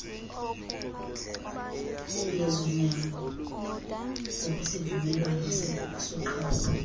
yezonyango ngokwesivumelwano soqhawulo